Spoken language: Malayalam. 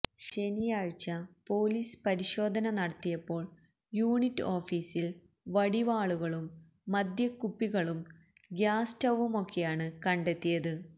ശനിയാഴ്ച പോലീസ് പരിശോധന നടത്തിയപ്പോള് യൂണിറ്റ് ഓഫീസില് വടിവാളുകളും മദ്യക്കുപ്പിക്കളും ഗ്യാസ് സ്റ്റൌവുമൊക്കെയാണ് കണ്ടെത്തിയത്